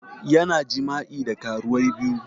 Yana jima'i da karuwai biyu